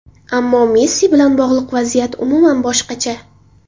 Ammo Messi bilan bog‘liq vaziyat umuman boshqacha.